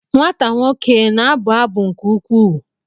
Nwata nwoke na-abụ abụ nke ukwuu?